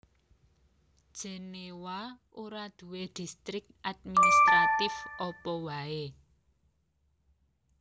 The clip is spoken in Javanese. Jenéwa ora duwé distrik administratif apa waé